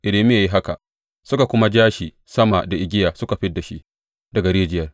Irmiya ya yi haka, suka kuma ja shi sama da igiya suka fid da shi daga rijiyar.